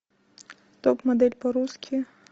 топ модель по русски